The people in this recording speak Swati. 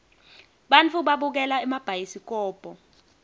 bantfu babukela emabhayisikobo